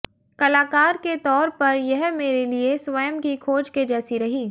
कलाकार के तौर पर यह मेरे लिए स्वयं की खोज के जैसी रही